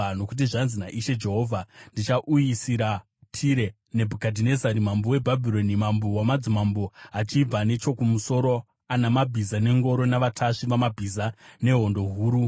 “Nokuti zvanzi naIshe Jehovha: Ndichauyisira Tire Nebhukadhinezari mambo weBhabhironi, mambo wamadzimambo, achibva nechokumusoro, ana mabhiza nengoro, navatasvi vamabhiza nehondo huru.